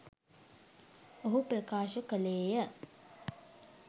ඔහු ප්‍රකාශ කළේය